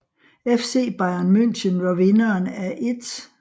FC Bayern München var vinderen af 1